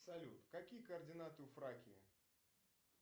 салют какие координаты у фракии